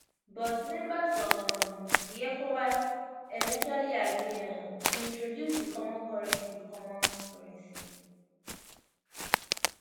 but members of um di ecowas eventually agree um tointroduce di common currency common currency